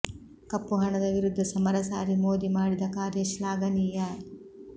ಕಪ್ಪು ಹಣದ ವಿರುದ್ಧ ಸಮರ ಸಾರಿ ಮೋದಿ ಮಾಡಿದ ಕಾರ್ಯ ಶ್ಲಾಘನೀಯ